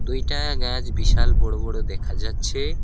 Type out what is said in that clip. দুইটা গাছ বিশাল বড় বড় দেখা যাচ্ছে।